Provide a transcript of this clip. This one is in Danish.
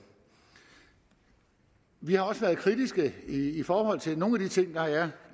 vi har også været kritiske i forhold til nogle af de ting der er